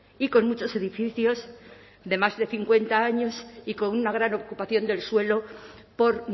y con muchos edificios de más de cincuenta años y con una gran ocupación del suelo por